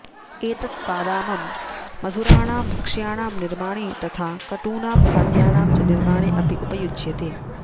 एतत् वातामं मधुराणां भक्ष्याणां निर्माणे तथा कटूनां खाद्यानां च निर्माणे अपि उपयुज्यते